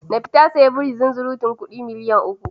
Nafi ta sayi biri zunzurutun kudi miliyan uku.